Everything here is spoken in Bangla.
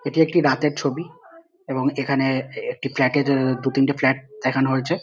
এটি একটি রাতের ছবি এবং এখানে-এ একটি ফ্ল্যাট - এর দু তিনটি ফ্ল্যাট দেখানো হয়েছে।